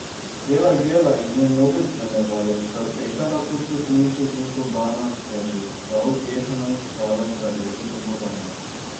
Gela Gela in njen novi spremljevalec sta tekala po stopniščih in sobanah ter že vsa upehana iskala kraljevo domovanje.